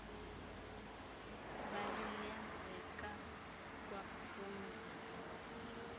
bali lenzeka kwaphumzile